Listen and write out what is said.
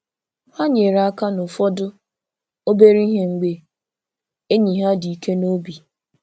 Ha nyere aka n’ụfọdụ obere ihe mgbe enyi ha dị ike n’obi.